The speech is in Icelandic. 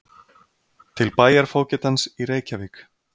Til bæjarfógetans í Reykjavík